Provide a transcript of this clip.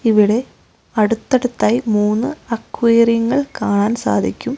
ഇവിടെ അടുത്തടുത്തായി മൂന്ന് അക്വേറിയങ്ങൾ കാണാൻ സാധിക്കും.